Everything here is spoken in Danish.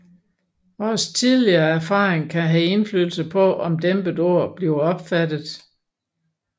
Vores tidligere erfaringer kan have indflydelse på om et dæmpet ord bliver opfattet